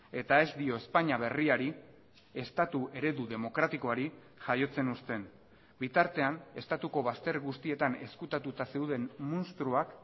eta ez dio espainia berriari estatu eredu demokratikoari jaiotzen usten bitartean estatuko bazter guztietan ezkutatuta zeuden munstroak